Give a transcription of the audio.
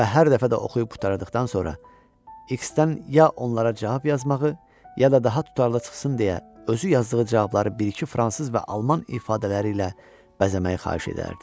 Və hər dəfə də oxuyub qurtardıqdan sonra X-dən ya onlara cavab yazmağı, ya da daha tutarlı çıxsın deyə özü yazdığı cavabları bir-iki fransız və alman ifadələri ilə bəzəməyi xahiş edərdi.